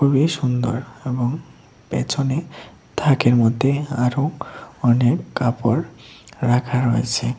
খুবই সুন্দর এবং পেছনে থাকের মধ্যে আরও অনেক কাপড় রাখা রয়েছে।